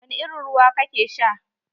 Wani irin ruwa kake sha?